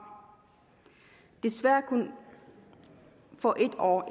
desværre kun for en år